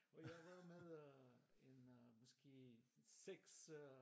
Og jeg var med øh en øh måske 6 øh